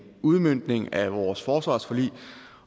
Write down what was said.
udmøntning af vores forsvarsforlig